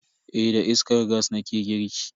Eh da iskar gas nake girki.